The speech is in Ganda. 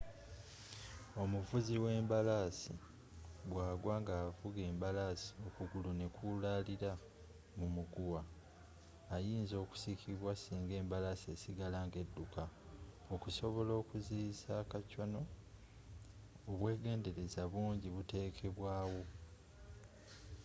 omuvuzi w'embalaasi bwa gwa nga avuga embalaasi okugulu kwe nekulaalira mu muguwa ayinza okusikibwa singa embalaasi esigala nga edukka okusobola okuziyiiza a kacwano obwegenderaza bungi butekebwaa wo